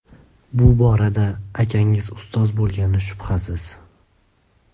Bu borada akangiz ustoz bo‘lgani shubhasiz.